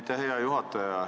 Aitäh, hea juhataja!